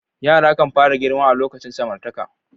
Yara kan fara girma a lokacin samartaka.